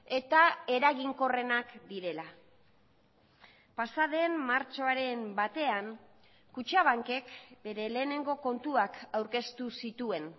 eta eraginkorrenak direla pasaden martxoaren batean kutxabankek bere lehenengo kontuak aurkeztu zituen